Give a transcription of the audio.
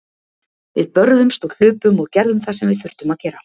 Við börðumst og hlupum og gerðum það sem við þurftum að gera.